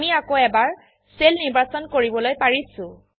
আমি আকৌ এবাৰ সেল নিৰ্বাচন কৰিবলৈ পাৰিছো160